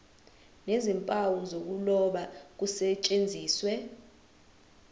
nezimpawu zokuloba kusetshenziswe